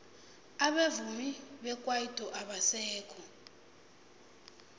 abavumi bekwaito abasekho